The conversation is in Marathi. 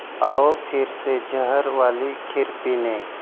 आवो फिरसे जहर वाली खीर पीने'